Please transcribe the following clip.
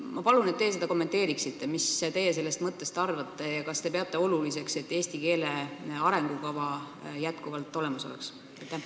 Ma palun teil seda kommenteerida: mis teie sellest mõttest arvate ja kas te peate oluliseks, et eesti keele arengukava endiselt olemas oleks?